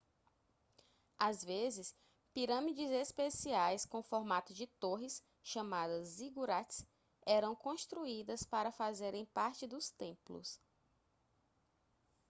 às vezes pirâmides especiais com formato de torres chamadas zigurates eram construídas para fazerem parte dos templos